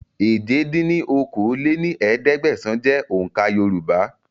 èje dín ní okòó-lé-ní-ẹ̀ẹ́dẹ́gbẹ́sán jẹ́ òun ká Yorùbá